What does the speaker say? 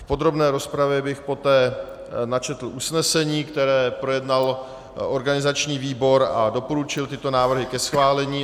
V podrobné rozpravě bych poté načetl usnesení, které projednal organizační výbor, a doporučil tyto návrhy ke schválení.